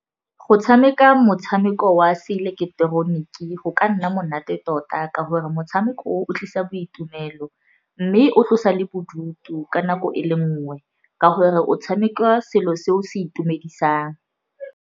Go tshameka motshameko wa seileketeroniki go ka nna monate tota ka gore motshameko o o tlisa boitumelo, mme o tlosa le bodutu ka nako e le nngwe, ka gore o tshameka selo se o se itumedisang.